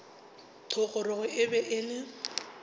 thogorogo e be e le